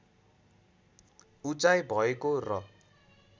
उचाइ भएको र